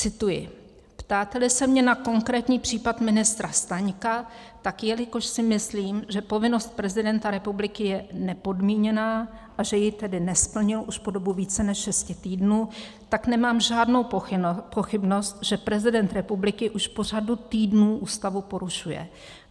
Cituji: "Ptáte-li se mě na konkrétní případ ministra Staňka, tak jelikož si myslím, že povinnost prezidenta republiky je nepodmíněná a že ji tedy nesplnil už po dobu více než šesti týdnů, tak nemám žádnou pochybnost, že prezident republiky už po řadu týdnů Ústavu porušuje.